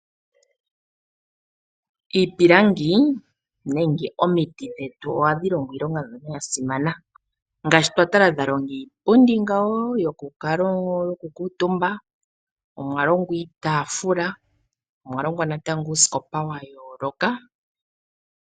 Iipilangi, nenge omiti dhetu ohadhi longo iilonga mbyono yasimana. Ngaashi twa tala dhalonga iipundi ngawo, yokukuutumba, omwa longwa itaafula, omwalongwa natango uusikopa wa yooloka.